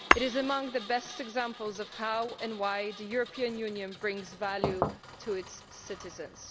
It is among the best examples of how and why the European Union brings value to its citizens.